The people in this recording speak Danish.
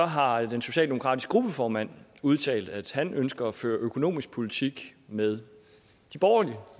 har den socialdemokratiske gruppeformand udtalt at han ønsker at føre økonomisk politik med de borgerlig